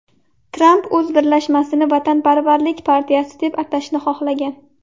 Tramp o‘z birlashmasini Vatanparvarlik partiyasi deb atashni xohlagan.